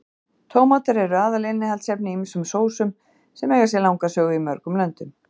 Tómatar eru aðalinnihaldsefni í ýmsum sósum sem eiga sér langa sögu í mörgum löndum.